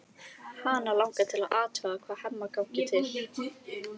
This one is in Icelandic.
Hana langar til að athuga hvað Hemma gangi til.